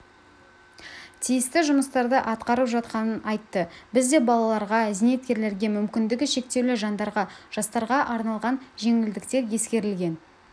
тиісті жұмыстарды атқарып жатқанын айтты бізде балаларға зейнеткерлерге мүмкіндігі шектеулі жандарға жастарға арналған жеңілдіктер ескерілген